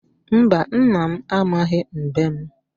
Mba, nna m amaghị mbem.